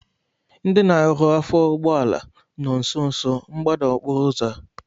Ndị na-arụ afọ ụgbọala nọ nsonso mgbada okporo ụzọ a